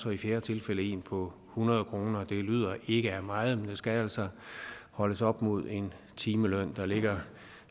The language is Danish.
og i fjerde tilfælde en på hundrede kroner det lyder ikke af meget men det skal altså holdes op mod en timeløn der ligger